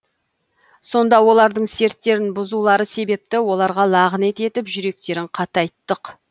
сонда олардың серттерін бұзулары себепті оларға лағынет етіп жүректерін қатайттық